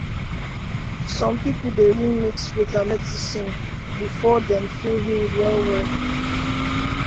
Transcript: some people dey really mix faith and medicine before dem feel healed wellwell